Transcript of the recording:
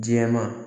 Jɛman